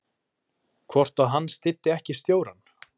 Hvort að hann styddi ekki stjórann?